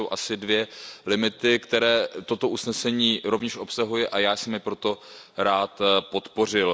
To jsou asi dva limity, které toto usnesení rovněž obsahuje, a já jsem je proto rád podpořil.